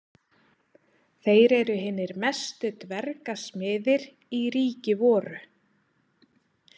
Þeir eru hinir mestu dvergasmiðir í ríki voru.